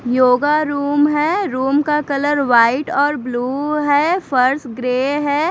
Yoga room है room का colour white और ब्लू है फर्श ग्रे है।